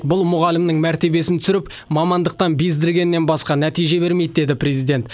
бұл мұғалімнің мәртебесін түсіріп мамандықтан бездіргеннен басқа нәтиже бермейді деді президент